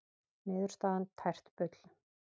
Niðurstaðan tært bull